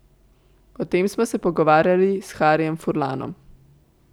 O tem smo se pogovarjali s Harijem Furlanom.